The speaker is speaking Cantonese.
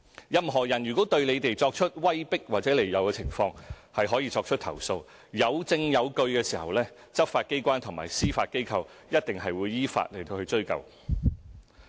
任何人如果對選委作出威迫和利誘，他們可以投訴。當證據俱在，執法機關和司法機構一定會依法追究。